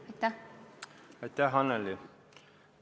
Aitäh, Annely!